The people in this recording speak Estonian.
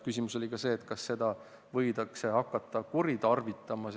Küsimus oli ka, kas seda sätet võidakse hakata kuritarvitama.